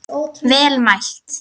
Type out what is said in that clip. Vel mælt.